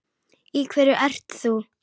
Í hverju ert þú?